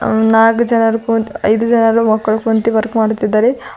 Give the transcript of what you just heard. ಆ ನಾಕ್ ಜನರ ಕುಂತ ಐದು ಜನರು ಮಕ್ಕಳು ಕುಂತಿ ವರ್ಕ್ ಮಾಡುತ್ತಿದ್ದಾರೆ.